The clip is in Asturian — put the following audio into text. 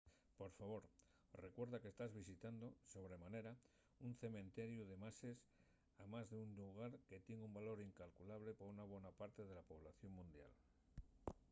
por favor recuerda que tas visitando sobre manera un cementeriu de mases amás d’un llugar que tien un valor incalculable pa una bona parte de la población mundial